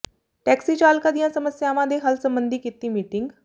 taxi ਚਾਲਕਾਂ ਦੀਆਂ ਸਮੱਸਿਆਵਾਂ ਦੇ ਹੱਲ ਸਬੰਧੀ ਕੀਤੀ ਮੀਟਿੰਗ